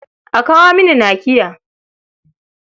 A kawo mini nakiya.